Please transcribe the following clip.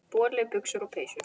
Boli, buxur og peysur.